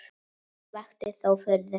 Sumt vakti þó furðu.